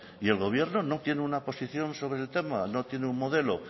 y el gobierno no tiene una posición sobre el tema no tiene un modelo